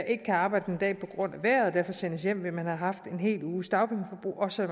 ikke kan arbejde en dag på grund af vejret og derfor sendes hjem vil man have haft en hel uges dagpengeforbrug også